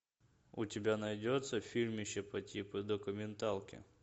у тебя найдется фильм еще по типу документалки